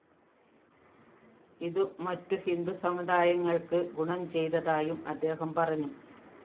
ഇതു മറ്റു ഹിന്ദു സമുദായങ്ങള്‍ക്ക് ഗുണം ചെയ്തതായും അദ്ദേഹം പറഞ്ഞു